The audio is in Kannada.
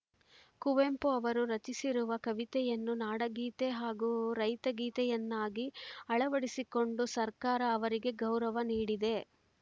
ಕುವೆಂಪು ಅವರು ರಚಿಸಿರುವ ಕವಿತೆಯನ್ನು ನಾಡಗೀತೆ ಹಾಗೂ ರೈತಗೀತೆಯನ್ನಾಗಿ ಅಳವಡಿಸಿಕೊಂಡು ಸರ್ಕಾರ ಅವರಿಗೆ ಗೌರವ ನೀಡಿದೆ